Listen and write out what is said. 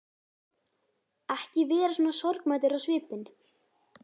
Ekki vera svona sorgmæddur á svipinn.